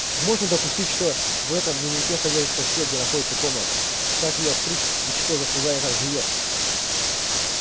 можно допустить что в этом дневнике содержится всё где находится комната как её открыть и что за создание там живёт